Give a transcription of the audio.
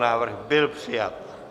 Návrh byl přijat.